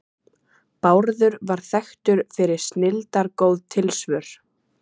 Bárður var þekktur fyrir snilldargóð tilsvör.